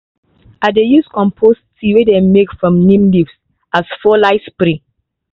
i dey use compost tea wey them make from neem leaves as foliar spray.